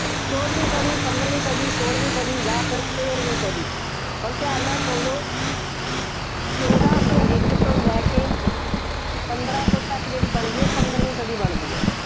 ਚੋਦਵੀਂ ਸਦੀ, ਪੰਦਰਵੀਂ ਸਦੀ, ਸੋਲਵੀਂ ਸਦੀ ਜਾਂ ਫਿਰ ਤੇਰਵੀਂ ਸਦੀ, ਹੁਣ ਧਿਆਨ ਨਾਲ ਸੁਣ ਲਓ। ਚੋਦਾਂ ਸੌ ਇੱਕ ਤੋਂ ਲੈ ਕੇ ਪੰਦਰਾਂ ਸੌ ਤੱਕ ਜਿਹੜੀ ਬਣਦੀ ਹੈ, ਉਹ ਪੰਦਰਵੀ ਸਦੀ ਬਣਦੀ ਹੈ।